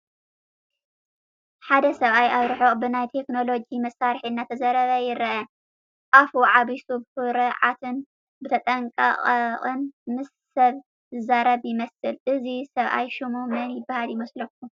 ሓደ ሰብኣይ ኣብ ርሑቅ ብናይ ቴክኖሎጂ መሳርሒ እናተዛረበ የርኢ፡፡ ኣፉ ዓቢሱ ብኹርዓትን ብተጠንቐቅን ምስ ሰብ ዝዛረብ ይመስል፡፡ እዚ ሰብኣይ ሽሙ መን ይባሃል ይመስለኩም?